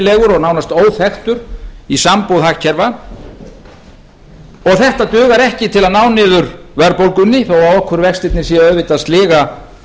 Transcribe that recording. og nánast óþekktur í sambúð hagkerfa og þetta dugar ekki til að ná niður verðbólgunni þó að okurvextirnir séu auðvitað að sliga